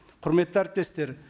құрметті әріптестер